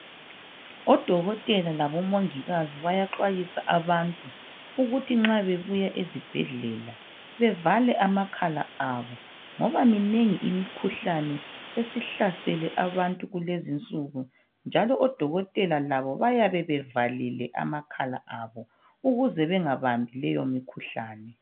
Odokotela is bayaxwayisa abantu ukuthi nxa bebuya ezibhedlela , bevale amakhala abo ngoba minengi imikhuhlane esihlasele abantu kulezi insuku njalo odokotela labo bayabe bevalile amakhala abo ukuze bengabambi leyo mikhuhlane.